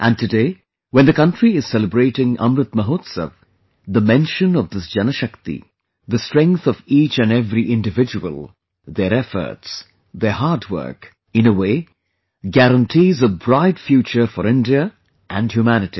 And today when the country is celebrating Amrit Mahotsav, the mention of this Janashakti; the strength of each and every individual, their efforts, their hard work, in a way, guarantees a bright future for India and humanity